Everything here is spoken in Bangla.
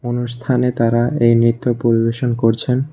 অনুষ্ঠানে তারা এই নৃত্য পরিবেশন করছেন।